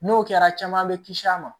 N'o kɛra caman bɛ kisi a ma